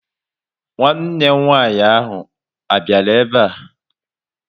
Nwanne m nwaanyị a biara ebe a?